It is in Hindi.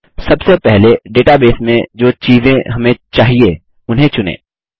सबसे पहले डेटाबेस में जो चीज़ें हमें चाहिए उन्हें चुनें